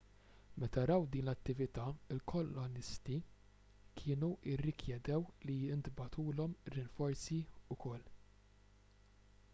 meta raw din l-attività il-kolonisti kienu rrikjedew li jintbagħtulhom rinforzi wkoll